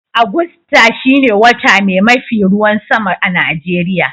Agusta shine wota mai mafi ruwan sama a'Nijeriya.